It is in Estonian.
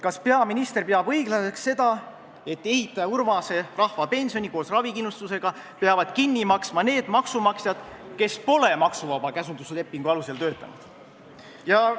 Kas peaminister peab õiglaseks seda, et ehitaja Urmase rahvapensioni koos ravikindlustusega peavad kinni maksma need maksumaksjad, kes pole maksuvaba käsunduslepingu alusel töötanud?